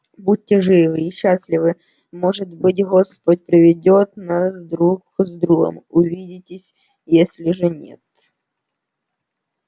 будьте живы и счастливы может быть господь приведёт нас друг с другом увидитесь если же нет